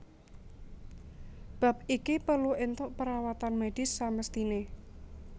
Bab iki perlu entuk perawatan medis samesthine